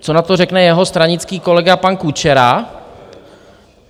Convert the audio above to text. Co na to řekne jeho stranický kolega pan Kučera?